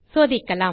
சோதிக்கலாம்